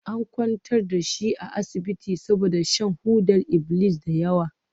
An kwantar da shi a asibiti saboda shan hodar iblis da yawa.